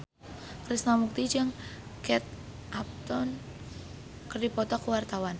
Krishna Mukti jeung Kate Upton keur dipoto ku wartawan